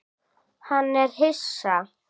Hann er hissa.